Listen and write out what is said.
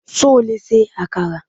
Ṣo lè ṣe àkàrà?